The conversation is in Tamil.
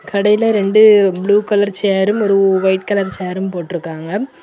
கடையில ரெண்டு ப்ளூ கலர் சேரும் ஒரு ஒயிட் கலர் சேரும் போட்ருக்காங்க.